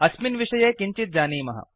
अस्मिन् विषये किञ्चित् जानीमः